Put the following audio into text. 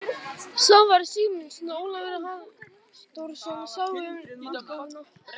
Svavar Sigmundsson og Ólafur Halldórsson sáu um útgáfuna.